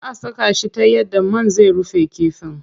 Zaa a saka shi ta yadda man zai rufe kifin.